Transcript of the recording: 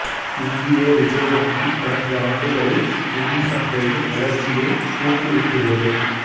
இந்திய ரிசர்வ் வங்கி கடந்த ஆண்டுகளில் நிதி சந்தையின் வளர்ச்சியை ஊக்குவித்துள்ளது